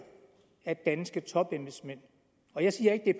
at danske topembedsmænd og jeg siger ikke at